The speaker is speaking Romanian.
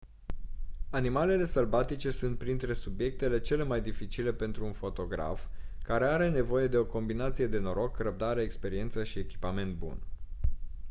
animalele sălbatice sunt printre subiectele cele mai dificile pentru un fotograf care are nevoie de o combinație de noroc răbdare experiență și echipament bun